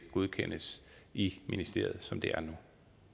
godkendes i ministeriet som det er nu